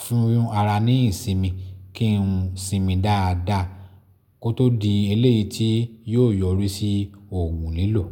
fún ara ní ìsinmi, kí n sinmi dáa dáa kó tó di eléyìí tí yó yọrí sí òògùn lílọ̀.